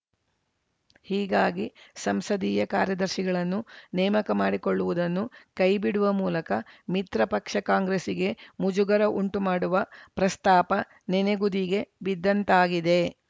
ಹೀಗಾಗಿ ಸಂಸದೀಯ ಕಾರ್ಯದರ್ಶಿಗಳನ್ನು ನೇಮಕ ಮಾಡಿಕೊಳ್ಳುವುದನ್ನು ಕೈಬಿಡುವ ಮೂಲಕ ಮಿತ್ರ ಪಕ್ಷ ಕಾಂಗ್ರೆಸ್‌ಗೆ ಮುಜುಗರ ಉಂಟು ಮಾಡುವ ಪ್ರಸ್ತಾಪ ನೆನೆಗುದಿಗೆ ಬಿದ್ದಂತಾಗಿದೆ